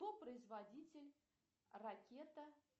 кто производитель ракета